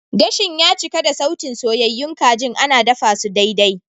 Gashin ya cika da sautin soyyayun kajin ana dafasu daidai.